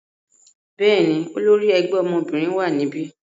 Bẹ́ẹ̀ni, olori ẹgbẹ obinrin wa nibi.